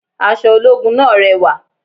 Aṣọ ológun náà rẹwà